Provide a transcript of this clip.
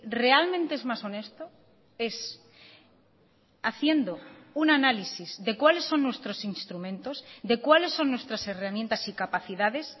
realmente es más honesto es haciendo un análisis de cuáles son nuestros instrumentos de cuáles son nuestras herramientas y capacidades